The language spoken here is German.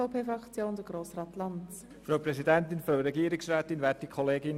Wir werden diesen Antrag zwar unterstützen, aber er ist nicht praktikabel.